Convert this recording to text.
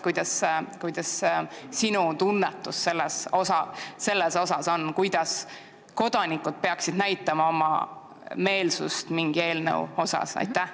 Milline on sinu tunnetus, kuidas kodanikud peaksid näitama oma meelsust mingi eelnõu asjus?